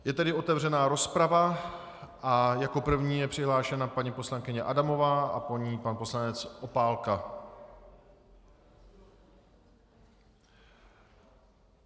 Je tedy otevřena rozprava a jako první je přihlášena paní poslankyně Adamová a po ní pan poslanec Opálka.